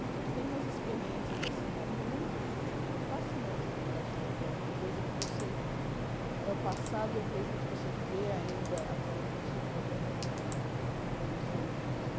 Então tem umas experiências assim, é muito, é fascinante aquele leste europeu, uma coisa que você, é o passado e o presente, você vê ainda aquela infraestrutura comunista com defeitos